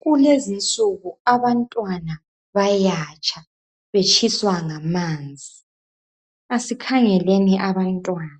Kulezinsuku abantwana bayatsha, betshiswa ngamanzi. Asikhangeleni abantwana